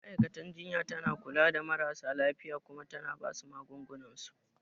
Ma'aikatan jinya tana kula da marasa lafiya Kuma tana basu magungunan su